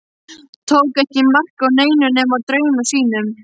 Tók ekki mark á neinu nema draumum sínum.